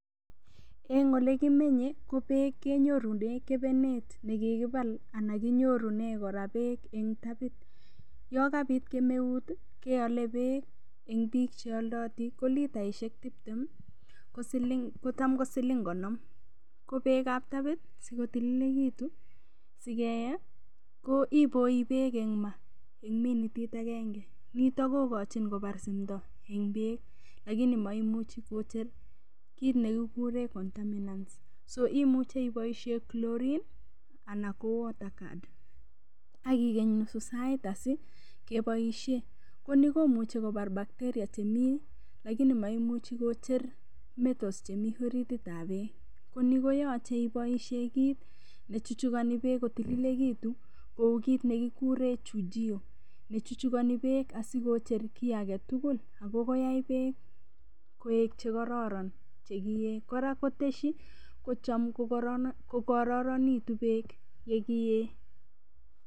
Eng' ole kimenye ko beek kenyorune kebenet nekikibal anan konyorunen kora beek eng tabit yo kobit kemeut keole beek eng' biik cheoldoti ko litaishek tiptem ko cham ko siling konom kobeekab tapit sikotilekitu sikee ko iboi beek eng' maa eng' minitit agenge noto kokochin kobar simto eng' beek lakini maimuchi kocher kiit nekikure contaminance imuchei iboishe chlorine anan ko water card akigeny nususait asikeboishe ni komuchi kobar bacteria chemi lakini maimuchi kocher metals chemi orititab beek ko ni koyochei iboishee kit nechuchukani beek kotililekitu kou kiit nekikure chujio nechuchukani beek asikocher kii agetugul akoyai beek koek chekororon chekiee kora koteshi kochom kokororonekitu beek yekiee